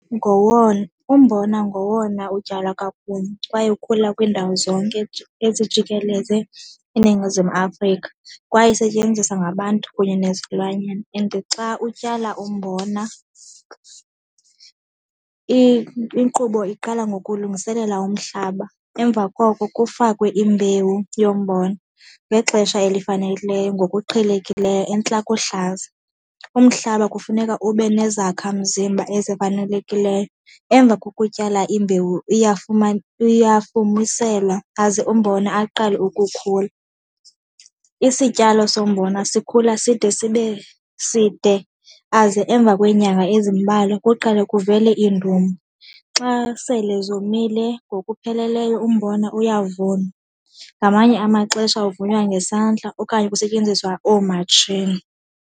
Ngowona, umbona ngowona utywalwa kakhulu kwaye ukhula kwiindawo zonke ezijikeleze iNingizimu Afrika kwaye isetyenziswa ngabantu kunye nezilwanyana. And xa utyala umbona inkqubo iqala ngokulungiselela umhlaba, emva koko kufakwe imbewu yombona ngexesha elifanelekileyo ngokuqhelekileyo entla kohlaza. Umhlaba kufuneka ube nezakhamzimba ezifanelekileyo. Emva kokutyala imbewu uyafumiselwa aze umbona aqale ukukhula. Isityalo sombona sikhula side sibe side, aze emva kweenyanga ezimbalwa kuqale kuvele iindumi. Xa sele zomile ngokupheleleyo umbona uyavunwa, ngamanye amaxesha uvunwayo ngesandla okanye kusetyenziswa oomatshini.